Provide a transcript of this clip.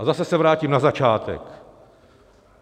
A zase se vrátím na začátek.